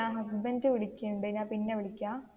അഹ് husband വിളിക്കണുണ്ട് ഞാൻ പിന്നേ വിളിക്കാം.